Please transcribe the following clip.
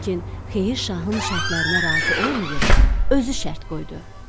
Lakin xeyir şahın şərtlərinə razı olmayıb, özü şərt qoydu.